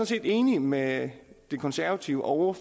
set enig med de konservative og